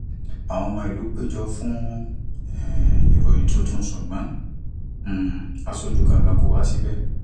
àwọn ọmọ ìlú péjọ fún um ìròyìn tuntun ṣùgbọn um aṣojú kankan kò wá síbẹ